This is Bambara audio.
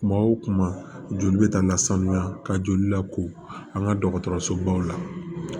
Kuma o kuma joli bɛ taa lasanuya ka joli lako an ka dɔgɔtɔrɔsobaw la